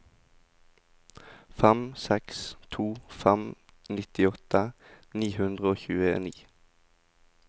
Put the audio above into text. fem seks to fem nittiåtte ni hundre og tjueni